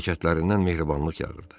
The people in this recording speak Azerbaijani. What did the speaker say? Hərəkətlərindən mehribanlıq yağırdı.